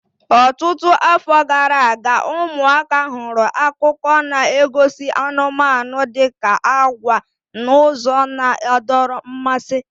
Ọtụtụ afọ gara aga, ụmụaka hụrụ akụkọ na-egosi anụmanụ dị ka agwa n'ụzọ na-adọrọ mmasị.